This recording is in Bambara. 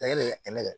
Da yɛlɛ